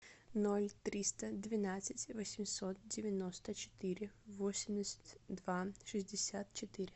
ноль триста двенадцать восемьсот девяносто четыре восемьдесят два шестьдесят четыре